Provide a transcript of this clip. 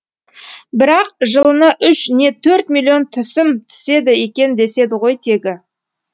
бірақ жылына үш не төрт миллион түсім түседі екен деседі ғой тегі